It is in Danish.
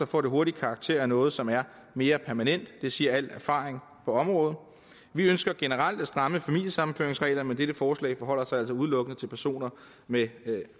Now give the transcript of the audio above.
får det hurtig karakter af noget som er mere permanent det siger al erfaring på området vi ønsker generelt at stramme familiesammenføringsreglerne men dette forslag forholder sig altså udelukkende til personer med